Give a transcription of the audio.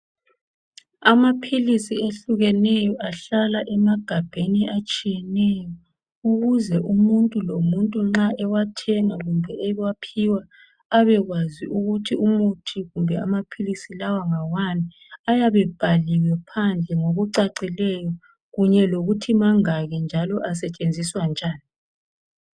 Amaphilisi ehlukeneyo ahlala emagabheni atshiyeneyo ukuze umuntu lomuntu nxa ewathenga kumbe ewaphiwa abekwazi ukuthi umuthi kumbe amaphilisi lawa ngawani ayabe ebhaliwe phandle ngokucacileyo kunye lokuthi mangaki njalo asetshenziswa njani.